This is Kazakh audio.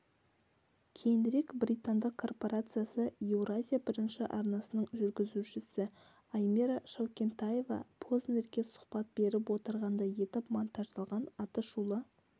кейінірек британдық корпорациясы евразия бірінші арнасының жургізушісі аймира шаукентаева познерге сұхбат беріп отырғандай етіп монтаждалған атышулы